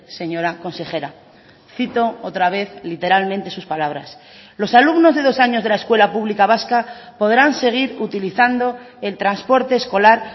señora consejera cito otra vez literalmente sus palabras los alumnos de dos años de la escuela pública vasca podrán seguir utilizando el transporte escolar